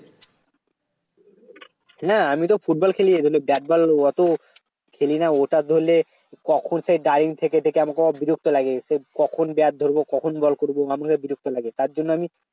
না আমি তো ফুটবল খেলি ব্যাট বল অত খেলি না ওটা ধরলে কখন সেই দাঁড়িয়ে থেকে থেকে আমাকে বিরক্ত লেগে গেছে কখন ব্যাট ধরব কখন বল করব আমার কাছে বিরক্ত লাগে তার জন্য আমি